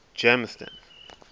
germiston